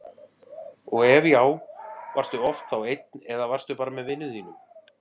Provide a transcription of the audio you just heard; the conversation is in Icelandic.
og ef já, varstu oft þá einn eða varstu bara með vinum þínum?